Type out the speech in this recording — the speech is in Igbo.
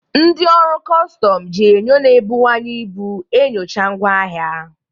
Ndị ọrụ kọstọm ji enyo na-ebuwanye ibu enyocha ngwa ahịa.